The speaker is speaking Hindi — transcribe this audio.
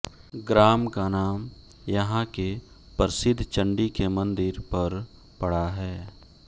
ग्राम का नाम यहाँ के प्रसिद्ध चंडी के मंदिर पर पड़ा है